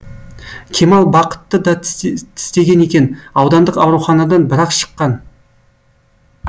кемал бақытты да тістеген екен аудандық ауруханадан бір ақ шыққан